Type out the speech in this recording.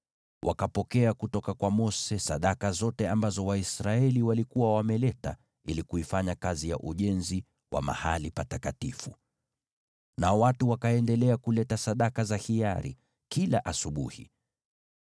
Wakapokea kutoka kwa Mose sadaka zote ambazo Waisraeli walikuwa wameleta ili kuifanya kazi ya ujenzi wa Mahali Patakatifu. Nao watu wakaendelea kuleta sadaka za hiari kila asubuhi.